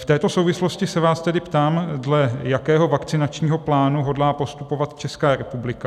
V této souvislosti se vás tedy ptám, dle jakého vakcinačního plánu hodlá postupovat Česká republika.